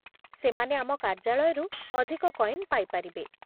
ସେମାନେ ଆମ କାର୍ଯ୍ୟାଳୟରୁ ଅଧିକ କଏନ୍ ପାଇପାରିବେ।